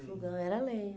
lenha. O fogão era lenha.